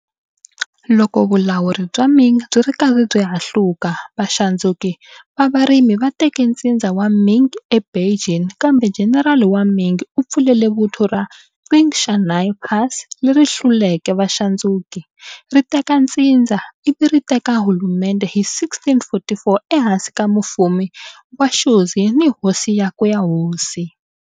Loko vulawuri bya Ming byi ri karhi byi hahluka, vaxandzuki va varimi va teke ntsindza wa Ming eBeijing, kambe jenerala wa Ming u pfulele vuthu ra Qing Shanhai Pass, leri hluleke vaxandzuki, ri teka ntsindza, ivi ri teka hulumendhe hi 1644 ehansi ka Mufumi wa Shunzhi ni hosi yakwe ya hosi.